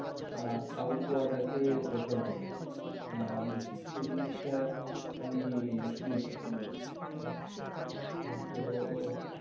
আহ south গোয়াটাকে prefer করে আহ বেশি। সেই জিনিসটা আমি শুনেছি। হম তো তো